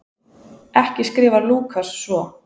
Ekki skrifar Lúkas svo.